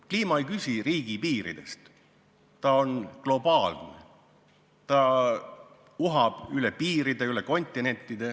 Kliima ei küsi riigipiiridest, ta on globaalne, ta uhab üle piiride, üle kontinentide.